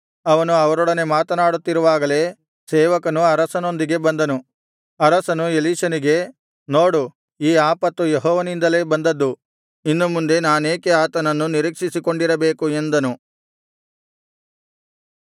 ಅವನು ಅವರೊಡನೆ ಮಾತನಾಡುತ್ತಿರುವಾಗಲೇ ಸೇವಕನು ಅರಸನೊಂದಿಗೆ ಬಂದನು ಅರಸನು ಎಲೀಷನಿಗೆ ನೋಡು ಈ ಆಪತ್ತು ಯೆಹೋವನಿಂದಲೇ ಬಂದದ್ದು ಇನ್ನು ಮುಂದೆ ನಾನೇಕೆ ಆತನನ್ನು ನಿರೀಕ್ಷಿಸಿಕೊಂಡಿರಬೇಕು ಎಂದನು